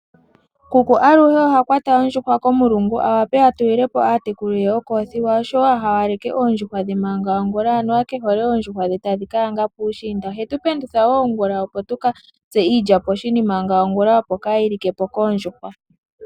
Kuku aluhe oha kwata ondjuhwa komulungu awape atulilepo aatekulu ye okoothiwa oshowo ahawaleke oondjuhwa dhe maga ongula anuwa kehole oondjuhwa dhe tadhikayanga puushiinda. Ohetu pendutha wo ongula opo tukatse iilya poshini manga ongula opo kaayili kepo koondjuhwa.